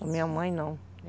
Da minha mãe, não.